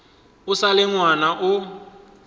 o sa le ngwana o